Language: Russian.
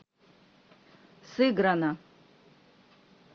сыграно